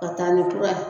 Ka taa ni kura ye